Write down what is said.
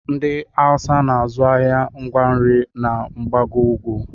Ndị awụsa na-azụ ahịa ngwa nri na mgbago ugwu